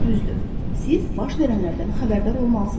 Düzdür, siz baş verənlərdən xəbərdar olmalısız.